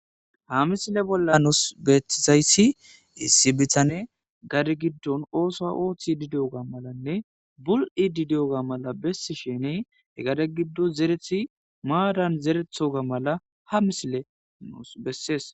Ha misile bolla nuus beetizayssi issi bitane gade giddon oosa oothidi diyoga malanne bul7idi diyoga mala bessishenne he gade giddo zerethi maaran zerethoga mala ha misile nuus bessees.